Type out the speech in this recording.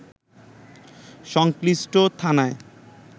সংশ্লিষ্ট থানায়